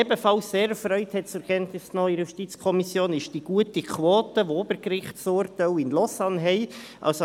Ebenfalls sehr erfreut wurde seitens der JuKo die sehr gute Quote zur Kenntnis genommen, welche die bernischen Obergerichtsurteile in Lausanne erreichen.